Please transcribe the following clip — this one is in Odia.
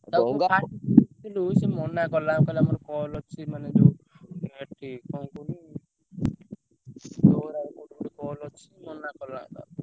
ତାକୁ ମୁଁ first ଡାକିଲୁ ସିଏ ମନା କଲା କହିଲା ମୋର call ଅଛି ମାନେ ଯୋଉ ଏଠି କଣ କହିଲୁ ମୋର ଆଉ ଗୋଟେ call ଅଛି ମନା କଲା।